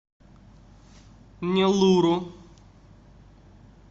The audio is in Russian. неллуру